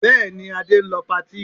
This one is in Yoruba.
Bẹ́ẹ̀ ni, Adé ń lọ patí